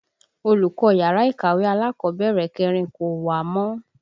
Olùkọ́ yàrá ìkàwé alákọ̀bẹ̀rẹ̀ kẹrin kò wá mọ́